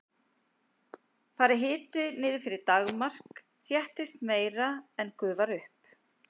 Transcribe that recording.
fari hiti niður fyrir daggarmark þéttist meira en gufar upp